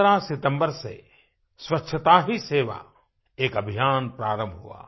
15 सितम्बर से स्वच्छता ही सेवा एक अभियान प्रारंभ हुआ